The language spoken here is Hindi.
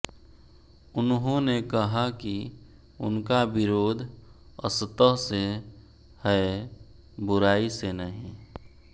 उन्होंने कहा कि उनका विरोध असत् से है बुराई से नहीं